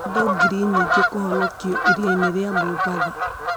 Andũ Ngiri Nyingĩ Kũhonokio Iria-inĩ rĩa Mombatha